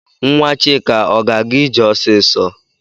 Nwa Chika ọ ga-aga ije ọsịsọ?